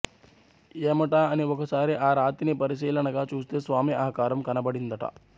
ఏమటాఅని ఒకసారి ఆ రాతిని పరిశీలనగా చూస్తే స్వామి ఆకారం కనబడిందట